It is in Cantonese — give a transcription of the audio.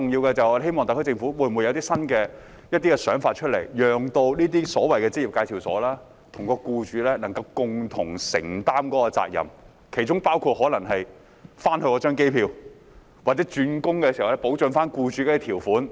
我們希望特區政府有一些新想法，讓這些職業介紹所與僱主共同承擔責任，例如訂立在回程機票或外傭轉工時保障僱主方面的條款。